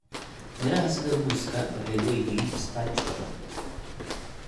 Midhaha sida muuska waxay leeyihiin starch badan.